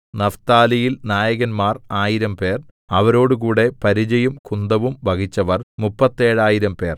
നഫ്താലിയിൽ നായകന്മാർ ആയിരംപേർ അവരോടുകൂടെ പരിചയും കുന്തവും വഹിച്ചവർ മുപ്പത്തേഴായിരംപേർ